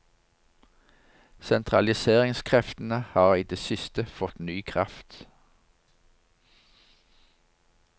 Sentraliseringskreftene har i det siste fått ny kraft.